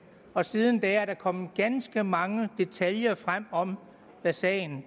og siden da er der kommet ganske mange detaljer frem om hvad sagen